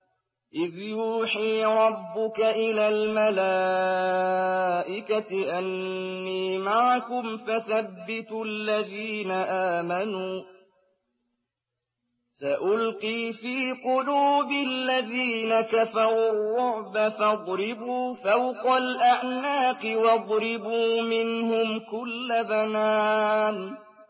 إِذْ يُوحِي رَبُّكَ إِلَى الْمَلَائِكَةِ أَنِّي مَعَكُمْ فَثَبِّتُوا الَّذِينَ آمَنُوا ۚ سَأُلْقِي فِي قُلُوبِ الَّذِينَ كَفَرُوا الرُّعْبَ فَاضْرِبُوا فَوْقَ الْأَعْنَاقِ وَاضْرِبُوا مِنْهُمْ كُلَّ بَنَانٍ